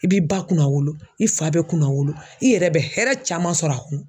I b'i ba kunnawolo i fa bɛ kunnawolo i yɛrɛ bɛ hɛrɛ caman sɔrɔ a kun